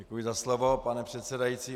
Děkuji za slovo, pane předsedající.